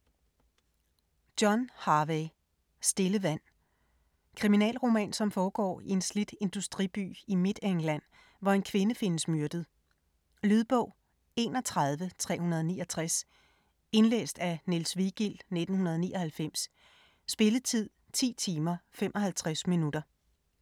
Harvey, John: Stille vand Kriminalroman, som foregår i en slidt industriby i Midtengland, hvor en kvinde findes myrdet. Lydbog 31369 Indlæst af Niels Vigild, 1999. Spilletid: 10 timer, 55 minutter.